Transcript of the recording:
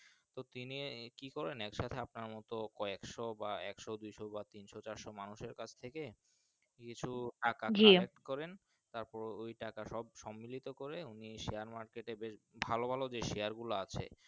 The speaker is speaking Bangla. তিনি এ কি করেন আচ্ছা আপনার মতো কএকশো বা একশো দুইশ বা তিনশো চারশো মানুষের কাছ থেকে কিছুটাকা জি তারপর ওই টাকা সব সমিলিতকরে উনি Share market এ ভালো ভালো যে Share গুলো আছে।